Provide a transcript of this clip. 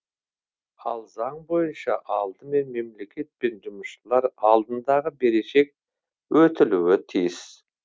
ал заң бойынша алдымен мемлекет пен жұмысшылар алдындағы берешек өтілуі тиіс